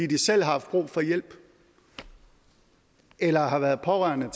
de selv har haft brug for hjælp eller har været pårørende